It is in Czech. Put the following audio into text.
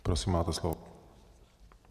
Prosím, máte slovo.